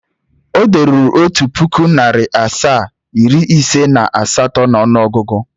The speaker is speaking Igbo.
O deruru Otu puku, nari asaa, iri ise na asato n'onuogugu?